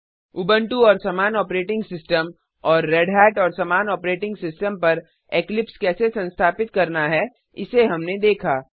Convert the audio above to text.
Ubuntu और समान operating system और रेढ़त और समान ऑपरेटिंग सिस्टम पर इक्लिप्स कैसे संस्थापित करना है इसे हमने देखा